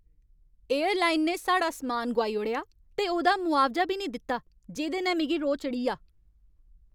Airline ने साढ़ा सम्मान गोआई ओड़ेआ ते ओह्दा मुआवजा बी निं दित्ता जेह्‌दे नै मिगी रोह् चढ़ी 'आ।